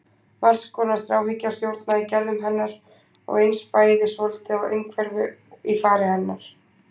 Margs konar þráhyggja stjórnaði gerðum hennar og eins bæri svolítið á einhverfu í fari hennar.